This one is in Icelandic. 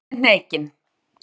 Hún brosti hreykin.